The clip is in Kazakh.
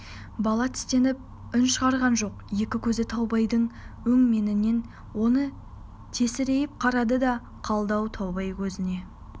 бала тістеніп үн шығарған жоқ екі көзі таубайдың өңменінен өте тесірейіп қарады да қалды таубай көзіне